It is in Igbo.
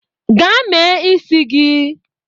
Gaa mee isi gị!